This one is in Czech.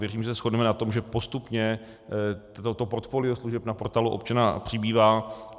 Věřím, že se shodneme na tom, že postupně to portfolio služeb na Portálu občana přibývá.